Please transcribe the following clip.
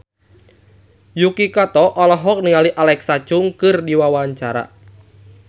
Yuki Kato olohok ningali Alexa Chung keur diwawancara